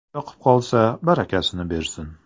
Yoqib qolsa, barakasini bersin!